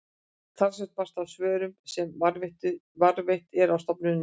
talsvert barst af svörum sem varðveitt eru á stofnuninni